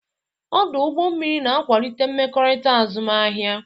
Ọdụ ụgbọ mmiri na-akwalite mmekọrịta azụmahịa.